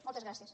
moltes gràcies